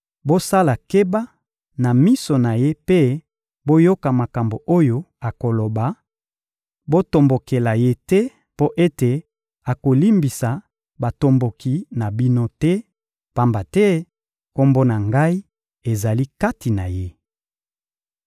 Bosala keba na miso na ye mpe boyoka makambo oyo akoloba; botombokela ye te mpo ete akolimbisa botomboki na bino te, pamba te Kombo na Ngai ezali kati na ye.